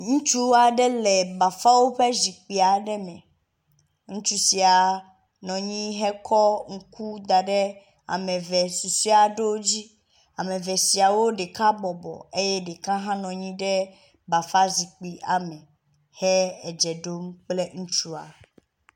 Ŋutsu aɖe le bafawo ƒe zikpui aɖe me. Ŋutsu sia nɔ anyi kɔ ŋku da ɖe ame eve susɔe ɖewo dzi. Ame eve siawo ɖeka bɔbɔ eye ɖeka hã nɔ anyi ɖe bafa zikpui ame he edze ɖom kple ŋutsua.